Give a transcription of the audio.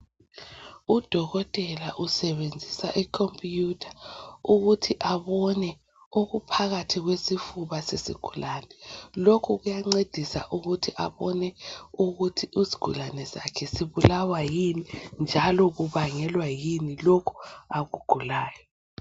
Udokotela usebenzisa i computer ukuthi abone okuphakathi kwesifuba sesigulane. Lokhu kuyancedisa ukuthi abone ukuthi izigulane zakhe zibulawa yini, njalo kubangelwa yini lokhu akugulayo.